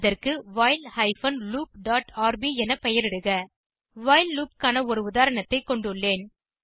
அதற்கு while hyphen loop dot RB என பெயரிடுக வைல் லூப் க்கான ஒரு உதாரணத்தை கொண்டுள்ளேன்